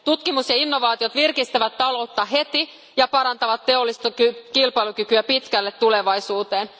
Tutkimus ja innovaatiot virkistävät taloutta heti ja parantavat teollista kilpailukykyä pitkälle tulevaisuuteen.